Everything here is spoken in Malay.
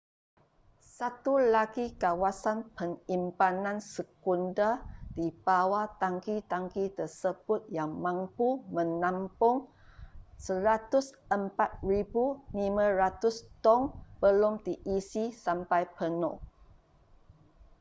satu lagi kawasan penyimpanan sekunder di bawah tangki-tangki tersebut yang mampu menampung 104,500 tong belum diisi sampai penuh